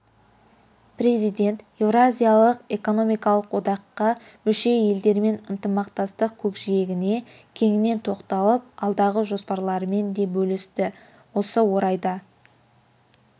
президент еуразиялық экономикалық одаққа мүше елдермен ынтымақтастық көкжиегіне кеңінен тоқталып алдағы жоспарларымен де бөлісті осы орайда